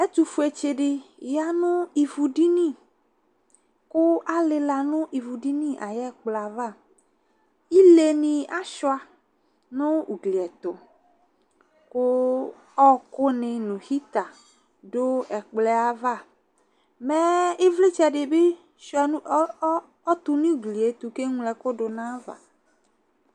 Ɛtʊfue tsɩdɩ yanʊ ɩvudɩni kʊ alila nʊ ɩvʊdɩnɩ ayu ɛkplɔɛava ɩlenɩ asuɩa nʊ ʊgliɛtʊ kʊ ɔkʊnɩ nʊ awɛ yivi dʊ ɛkplɔɛava mɛɛ ɩvlɩtsɛ dibi tʊnʊ ʊgkɩetu kʊ eŋlo ɛku dunʊ ayava